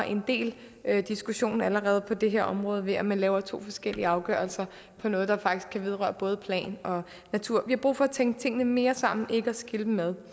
en del diskussion allerede på det her område ved at man laver to forskellige afgørelser på noget der faktisk kan vedrøre både plan og natur har brug for at tænke tingene mere sammen ikke at skille dem ad